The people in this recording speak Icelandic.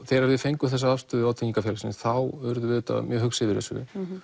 þegar við fengum þessa afstöðu vátryggingafélagsins þá urðum við auðvitað mjög hugsi yfir þessu